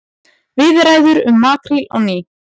Viðræður um makríl á ný